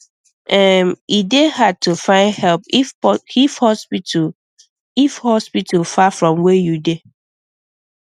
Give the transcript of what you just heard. um e dey hard to find help if hospital if hospital far from where you dey